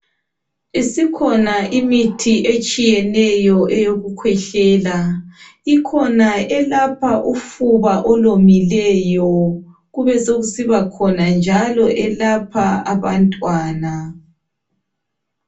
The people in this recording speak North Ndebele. Isikhona imithi etshiyeneyo eyokukhwehlele ikhona elapha ufuba olomileyo kubesokusibakhona njalo elapha abantwana.